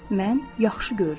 Mən yaxşı görürəm.